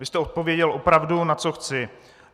Vy jste odpověděl opravdu "na co chci".